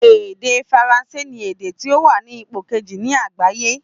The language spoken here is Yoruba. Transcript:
Èdè faransé ni èdè tí ó wa ní ipò kejì ní àgbáyé